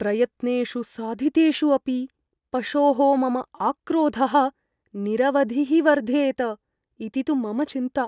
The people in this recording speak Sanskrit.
प्रयत्नेषु साधितेषु अपि पशोः मम आक्रोधः निरवधिः वर्धेत इति तु मम चिन्ता।